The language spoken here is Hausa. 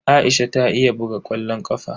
Aisha ta iya buga ƙwallon ƙafa.